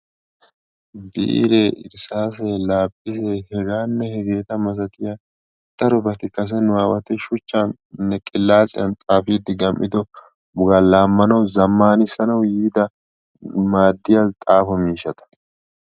Biire, irssaasee, laaphisee, heganne hegeeta malaatiya darobati kase nu aawati shuchchanne qilaatsiyan xaafiidde gam''ido wogaa laammanawu, zammanissanawu yiida maaddiya xaafo miishshata.